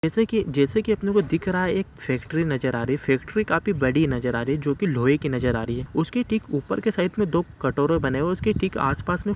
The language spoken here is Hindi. जैसे की जैसे की अपने को दिख रहा है एक फैक्ट्री नजर आ रही है फैक्ट्री काफी बड़ी नजर आ रही है जोकि लोहे की नजर आ रही है उसके ठीक ऊपर की साइड दो कटोरे बने हुए ठीक उसके आस पास में --